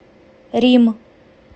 рим